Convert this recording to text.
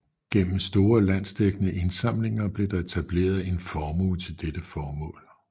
Gennem store landsdækkende indsamlinger blev der etableret en formue til dette formål